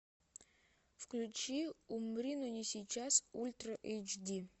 включи умри но не сейчас ультра эйч ди